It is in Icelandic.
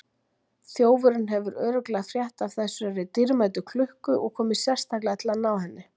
Þjófurinn hefur örugglega frétt af þessari dýrmætu klukku og komið sérstaklega til að ná henni.